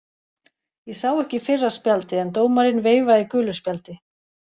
Ég sá ekki fyrra spjaldið en dómarinn veifaði gulu spjaldi.